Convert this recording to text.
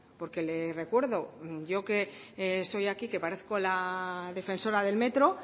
porque le recuerdo yo que soy aquí que parezco la defensora del metro